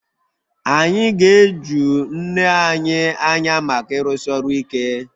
Anyị ga-eju nne anyị anya maka ịrụsi ọrụ ike